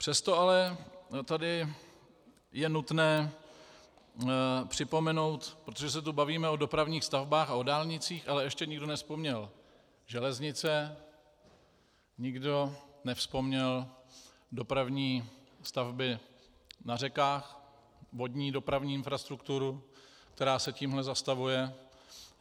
Přesto ale tady je nutné připomenout, protože se tu bavíme o dopravních stavbách a o dálnicích, ale ještě nikdo nevzpomněl železnice, nikdo nevzpomněl dopravní stavby na řekách, vodní dopravní infrastrukturu, která se tím zastavuje.